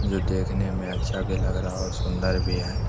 जो देखने में अच्छा भी लग रहा है और सुन्दर भी है।